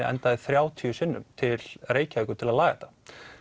endaði þrjátíu sinnum til Reykjavíkur til að laga þetta